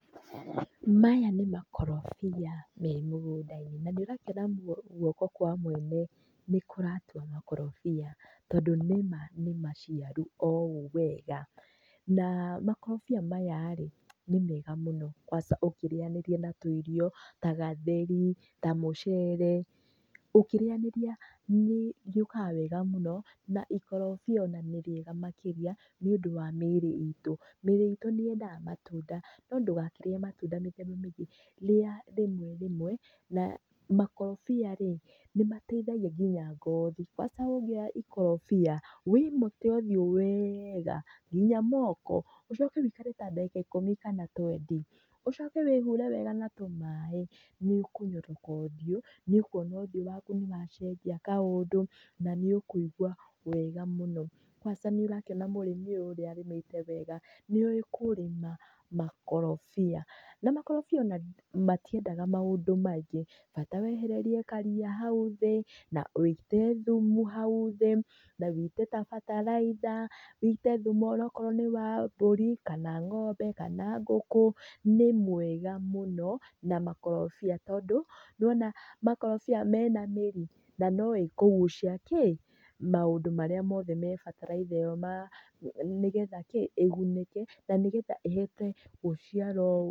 Maya nĩ makorobia me mũgũnda-inĩ na nĩ ũrakĩona guoko kwa mũene nĩ kũratua makorobia tondũ nĩ ma nĩ maciaru o ũũ wega. Na makorobia maya rĩ nĩ mega mũno kwanca ũkĩrĩnyanĩria na tũirio ta gatheri, ta mũcere, ũkĩrĩnyanĩria nĩrĩũkaga wega mũno na ikorobia nĩ rĩega mũno nĩundũ wa mĩĩri itũ. Mĩĩrĩ itũ nĩ yendete matunda no ndũgakĩrĩe matunda mĩthemba mĩingĩ, rĩa rĩmwe rĩmwe na makorobia rĩ nĩmateithagia nginya ngothi, kwanca ũngĩoya ikorobia wĩmote ũthiũ weega nginya moko, ũcoke wĩikare ta ndagĩka ikũmi kana twendi, ũcoke wĩ hũre wega na tũmaaĩ nĩũkũnyoroka ũthiũ, nĩũkuona ũthiũ waku nĩ wacenjia kaũndũ na nĩũkũigua wega mũno. kwanca nĩũrakĩona mũrimi ũyũ ũrĩa arĩmĩte wega, nĩ owĩ kũrĩma makorobia. Na makorobia o na matiendaga maũndũ maingĩ, bata wehererie karĩa hau thĩ na wĩite thumu hau thĩ na wĩite gabataraitha, wĩite thumu onaokorwo nĩ wa mbũri kana ng'ombe kana ngũkũ, nĩ mwega mũno na makorobia tondũ nĩwona makorobia mena mĩri, na no ĩkũgucia kĩ? maũndũ marĩa mothe me bataraitha ĩ yo nigetha kĩ? ĩgunĩke na nĩgetha ihote gũciara ũũ.